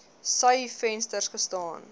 sy venster gestaan